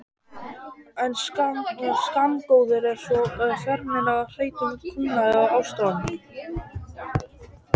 En skammgóður er sá vermir í hretum kulnandi ástardrauma.